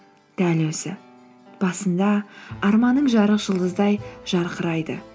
дәл өзі басында арманың жарық жұлдыздай жарқырайды